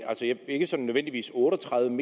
ikke nødvendigvis otte og tredive